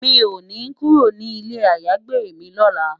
Mi ó ni kúró ninú ilé àyágbé mi lòlá